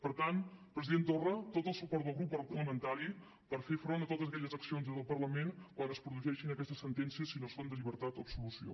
per tant president torra tot el suport del grup parlamentari per fer front a totes aquelles accions des del parlament quan es produeixin aquestes sentències si no són de llibertat o absolució